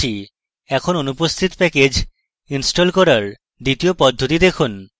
এখন অনুপস্থিত package install করার দ্বিতীয় পদ্ধতিটি দেখুন